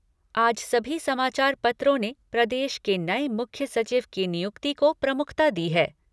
आज सभी समाचार पत्रों ने प्रदेश के नए मुख्य सचिव की नियुक्ति को प्रमुखता दी है।